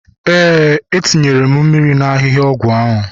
Ee, etinyere m mmiri na ahihia ọgwụ ahu